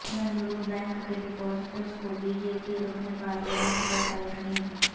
Bengaluru bank کے depositors کو B J P رکن پارلیمنٹ کا تیقن